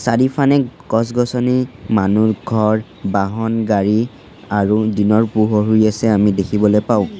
চাৰিফানে গছ-গছনি মানু্হ ঘৰ বাহন গাড়ী আৰু দিনৰ পোহৰ হৈ আছে আমি দেখিবলৈ পাওঁ।